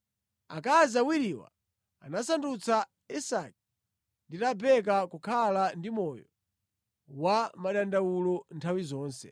Akazi awiriwa anasandutsa Isake ndi Rebeka kukhala ndi moyo wa madandawulo nthawi zonse.